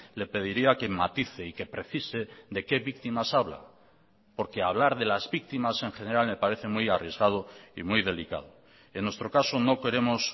le pediría que matice y que precise de qué víctimas habla porque hablar de las víctimas en general me parece muy arriesgado y muy delicado en nuestro caso no queremos